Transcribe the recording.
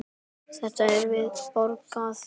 Þetta er vel borgað.